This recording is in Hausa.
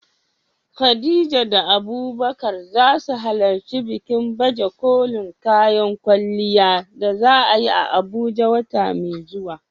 Khadija da Abubakar za su halarci bikin baje kolin kayan kwalliya da za a yi a Abuja wata mai zuwa.